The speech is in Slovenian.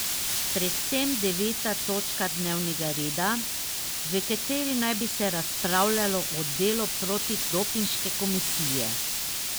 Predvsem deveta točka dnevnega reda, v kateri naj bi se razpravljalo o delu protidopinške komisije.